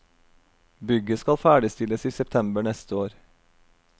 Bygget skal ferdigstilles i september neste år.